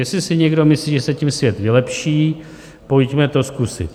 Jestli si někdo myslí, že se tím svět vylepší, pojďme to zkusit.